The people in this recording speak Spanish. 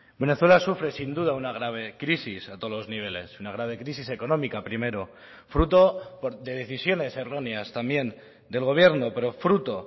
venezuela sufre sin duda una grave crisis a todos los niveles una grave crisis económica primero fruto de decisiones erróneas también del gobierno pero fruto